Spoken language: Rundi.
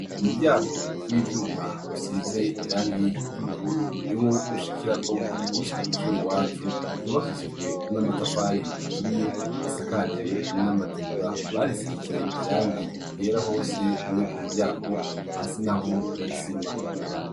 Umuryango rwivyuma rusize irangi ry'ubururu niwo ushikirako ugishika kwishure iwacu ryubakishijwe n'amatafari aturiye risakaje amategura barisize ibara ryera hose no kumuryango hasi naho hari isima.